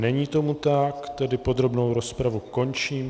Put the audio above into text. Není tomu tak, tedy podrobnou rozpravu končím.